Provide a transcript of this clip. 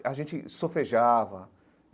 A gente sofejava.